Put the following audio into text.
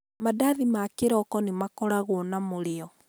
Mandathi ma kĩroko nĩmakoragwo na mũrĩo.